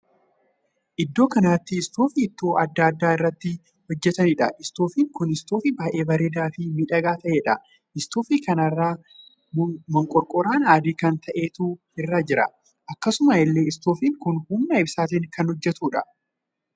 Iddoo kanatti istoofii ittoo addaa addaa irraa itti hojjetaniidha. istoifiin kun istoofii baay'ee bareedaa fi miidhagaa taheedha. istoofii kana irra mokonkoraan adii kan ta`eetu irra jira. akkasuma illee istoofiin kun humna ibsaatin kan hojjetudha.